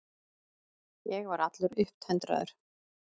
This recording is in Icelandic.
Ég var allur upptendraður.